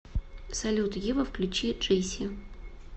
салют ева включи джейси